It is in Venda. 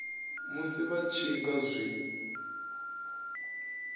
musi vha tshi nga zwi